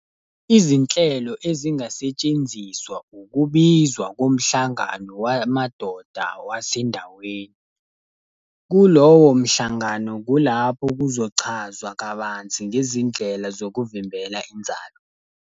Izinhlelo ezingasetshenziswa, ukubizwa komhlangano wamadoda wasendaweni. Kulowo mhlangano kulapho kuzochazwa kabanzi ngezindlela zokuvimbela inzalo.